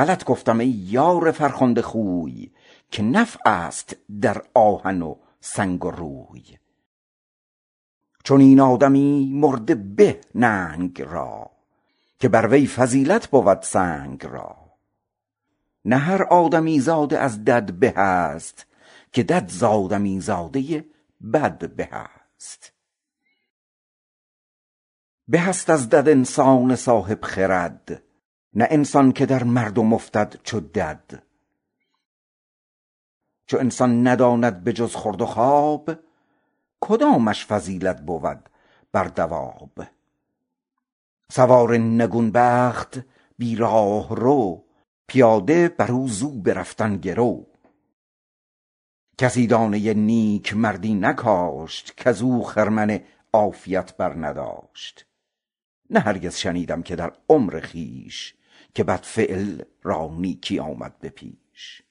غلط گفتم ای یار شایسته خوی که نفع است در آهن و سنگ و روی چنین آدمی مرده به ننگ را که بر وی فضیلت بود سنگ را نه هر آدمی زاده از دد به است که دد ز آدمی زاده بد به است به است از دد انسان صاحب خرد نه انسان که در مردم افتد چو دد چو انسان نداند به جز خورد و خواب کدامش فضیلت بود بر دواب سوار نگون بخت بی راهرو پیاده برد ز او به رفتن گرو کسی دانه نیکمردی نکاشت کز او خرمن کام دل برنداشت نه هرگز شنیدیم در عمر خویش که بدمرد را نیکی آمد به پیش